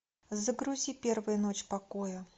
загрузи первая ночь покоя